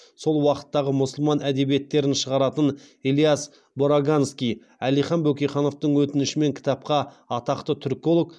сол уақыттағы мұсылман әдебиеттерін шығаратын ильяс бораганский әлихан бөкейхановтың өтінішімен кітапқа атақты түрколог